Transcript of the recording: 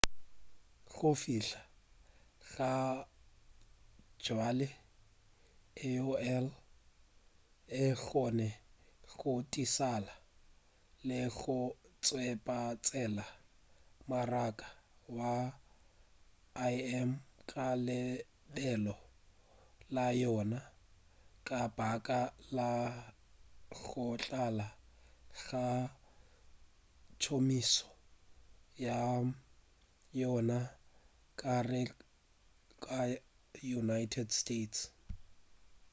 go fihla gabjale aol e kgonne go šothiša le go tšwetšapele mmaraka wa im ka lebelo la yona ka baka la go tlala ga tšhomišo ya yona ka gare ga united states